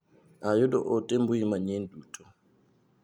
Ayudo ote mbui manyien duto.